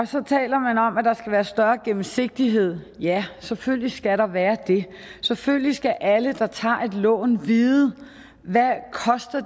så taler man om at der skal være større gennemsigtighed ja selvfølgelig skal der være det selvfølgelig skal alle der tager et lån vide hvad